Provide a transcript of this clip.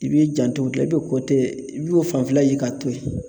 I b'i janto o ,la i bɛ i b'o fanfɛla ye k'a to yen.